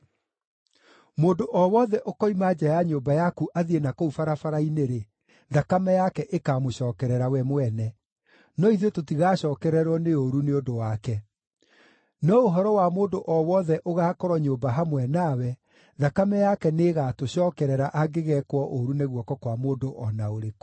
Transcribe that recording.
Mũndũ o wothe ũkoima nja ya nyũmba yaku athiĩ na kũu barabara-inĩ-rĩ, thakame yake ĩkamũcookerera we mwene; no ithuĩ tũtigacookererwo nĩ ũũru nĩ ũndũ wake. No ũhoro wa mũndũ o wothe ũgaakorwo nyũmba hamwe nawe, thakame yake nĩĩgatũcookerera angĩgeekwo ũũru nĩ guoko kwa mũndũ o na ũrĩkũ.